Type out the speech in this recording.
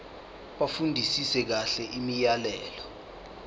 bafundisise kahle imiyalelo